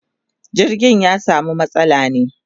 jirgin ya samu matsala ne